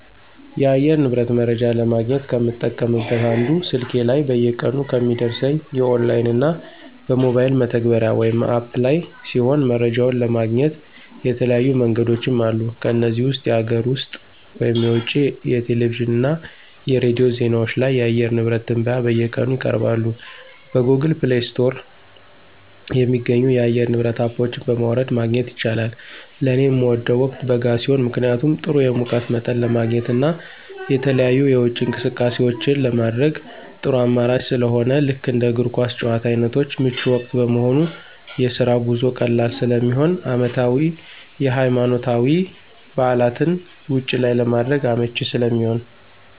የአየር ንብረት መረጃ ለማግኘት ከምጠቀምበት አንዱ ስልኬ ላይ በየቀኑ ከሚደርሰኝ የኦንላይን እና በሞባይል መተግበሪያ (አፕ) ላይ ሲሆን መረጃውን ለማግኘት የተለያዩ መንገዶችም አሉ ከነዚህም ውስጥ የሀገር ውስጥ (የውጭ) የቴሌቪዥን እና የሬዲዮ ዜናዎች ላይ የአየር ንብረት ትንበያ በየቀኑ ይቀርባሉ። በGoogle Play ስቶር የሚገኙ የአየር ንብረት አፖች በማውረድ ማግኘት ይቻላል። ለኔ ምወደው ወቅት በጋ ሲሆን ምክንያቱም ጥሩ የሙቀት መጠን ለማግኘት እና የተለያዩ የውጪ እንቅስቃሴዎችን ለማድረግ ጥሩ አማራጭ ስለሆነ ልክ እንደ እግር ኳስ ጭዋታ አይነቶች ምቹ ወቅት በመሆኑ፣ የስራ ጉዞ ቀላል ስለሚሆን፣ አመታዊ የሀይማኖታዊ በዓላትን ውጭ ላይ ለማድረግ አመቺ ስለሚሆን።